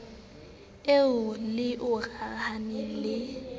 e le o rarahaneng ho